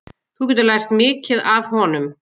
Þú getur lært mikið af honum.